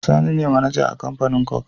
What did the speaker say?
Sani ne mAnager a Kamfanin coke